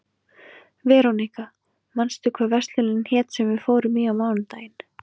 Veróníka, manstu hvað verslunin hét sem við fórum í á mánudaginn?